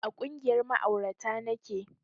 A ƙungiyar ma'aurata nake